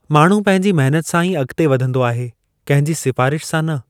माण्हू पंहिंजी महिनत सां ई अॻिते वधंदो आहे, कंहिंजी सिफारिश सां न।